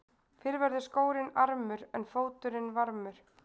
Fyrr verður skórinn armur en fóturinn varmur.